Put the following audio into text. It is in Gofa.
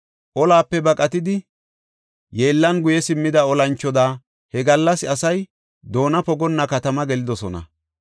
Olape baqatidi yeellan guye simmida olanchoda he gallas asay doona pogonna katama gelidosona.